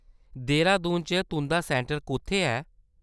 देहरादून च तुंʼदा सैंटर कुʼत्थै ऐ ?